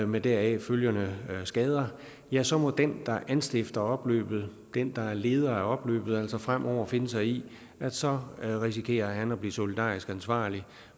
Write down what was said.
med deraf følgende skader ja så må den der anstifter opløbet den der er leder af opløbet altså fremover finde sig i at så risikerer han at blive solidarisk ansvarlig